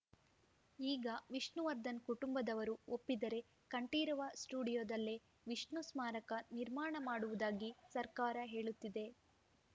ಈಗ ವಿಷ್ಣುವರ್ಧನ್‌ ಕುಟುಂಬದವರು ಒಪ್ಪಿದರೆ ಕಂಠೀರವ ಸ್ಟುಡಿಯೋದಲ್ಲೇ ವಿಷ್ಣು ಸ್ಮಾರಕ ನಿರ್ಮಾಣ ಮಾಡುವುದಾಗಿ ಸರ್ಕಾರ ಹೇಳುತ್ತಿದೆ